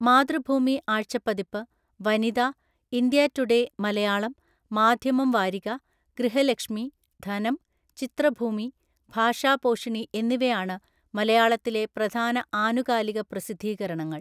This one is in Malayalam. മാതൃഭൂമി ആഴ്ച്ചപ്പതിപ്പ്, വനിത, ഇന്ത്യാ ടുഡേ മലയാളം, മാധ്യമം വാരിക, ഗൃഹലക്ഷ്മി, ധനം, ചിത്രഭൂമി, ഭാഷാപോഷിണി എന്നിവയാണ് മലയാളത്തിലെ പ്രധാന ആനുകാലികപ്രസിദ്ധീകരണങ്ങൾ.